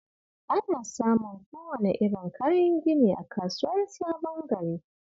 Ana samun kowane irin kayan gini a Kasuwar Sabon Gari